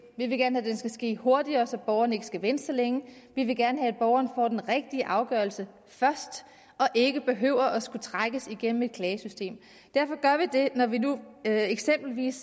vi vil gerne have den skal ske hurtigere så borgeren ikke skal vente så længe vi vil gerne have at borgeren får den rigtige afgørelse først og ikke behøver at skulle trækkes igennem et klagesystem derfor gør vi det når vi nu eksempelvis